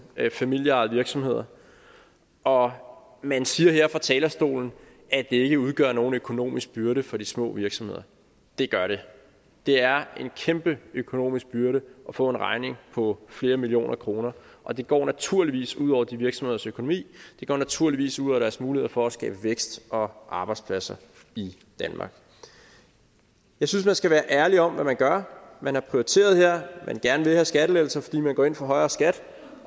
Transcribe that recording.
familieejede virksomheder og man siger her fra talerstolen at det ikke udgør nogen økonomisk byrde for de små virksomheder det gør det det er en kæmpe økonomisk byrde at få en regning på flere millioner kroner og det går naturligvis ud over de virksomheders økonomi det går naturligvis ud over deres muligheder for at skabe vækst og arbejdspladser i danmark jeg synes man skal være ærlig om hvad man gør man har prioriteret her og man vil gerne have skattelettelser fordi man går ind for højere skat